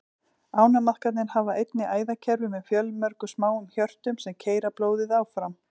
Ánamaðkarnir hafa einnig æðakerfi með fjölmörgum smáum hjörtum, sem keyra blóðið áfram.